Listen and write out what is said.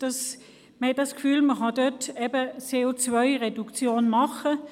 Man hat das Gefühl, man könne damit eine CO-Reduktion erreichen.